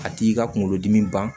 A t'i ka kunkolo dimi ban